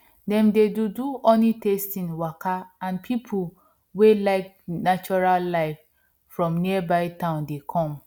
dem dey do do honeytasting waka and people wey like natural life from nearby town dey come